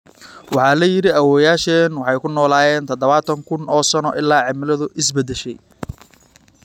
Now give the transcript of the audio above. Waxaa la yidhi awoowayaasheen waxay ku noolaayeen tadhawatan kun oo sano ilaa cimiladu is beddeshay.